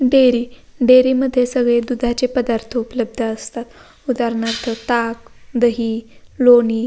dairy dairy मध्ये सगळे दुधाचे पदार्थ उपलब्ध असतात उदारणार्थ ताक दही लोणी --